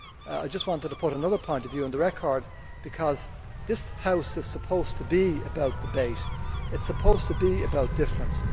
I just wanted to put another point of view on the record, because this House is supposed to be about debate, it is supposed to be about difference.